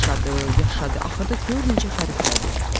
Yaşadı, yaşadı, axırda gör necə xəriflədi.